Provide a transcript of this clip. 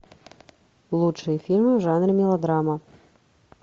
лучшие фильмы в жанре мелодрама